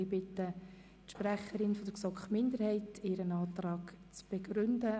Ich bitte die Sprecherin der GSoK-Minderheit, ihre Anträge zu begründen.